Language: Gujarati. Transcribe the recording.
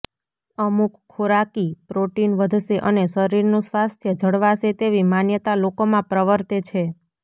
અમુક ખોરાકી પ્રોટીન વધશે અને શરીરનું સ્વાસ્થ્ય જળવાશે તેવી માન્યતા લોકોમાં પ્રવર્તે છે